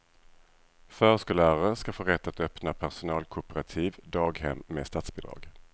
Förskollärare ska få rätt att öppna personalkooperativa daghem med statsbidrag.